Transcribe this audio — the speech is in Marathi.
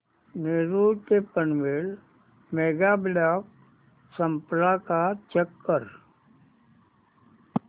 नेरूळ ते पनवेल मेगा ब्लॉक संपला का चेक कर